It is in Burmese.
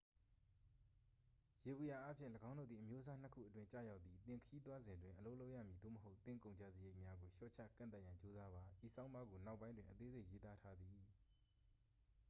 ယေဘုယျအားဖြင့် ၎င်းတို့သည် အမျိုးအစားနှစ်ခုအတွင်း ကျရောက်သည် သင်ခရီးသွားစဉ်တွင် အလုပ်လုပ်ရမည် သို့မဟုတ် သင့်ကုန်ကျစရိတ်များကို လျှော့ချကန့်သတ်ရန် ကြိုးစားပါ ဤဆောင်းပါးကို နောက်ပိုင်းတွင် အသေးစိတ် ရေးသားထားသည်